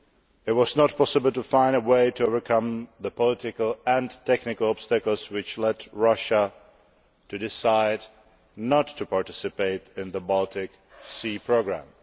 It was not possible to find a way to overcome the political and technical obstacles which led Russia to decide not to participate in the Baltic Sea Programme.